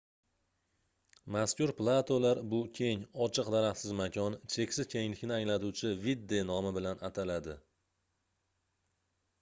mazkur platolar bu keng ochiq daraxtsiz makon cheksiz kenglikni anglatuvchi vidde nomi bilan ataladi